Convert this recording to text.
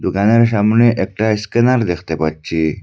প্লানের সামনে একটা স্ক্যানার দেখতে পাচ্ছি।